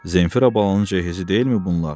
Zeynifərə balanın cehizi deyilmi bunlar?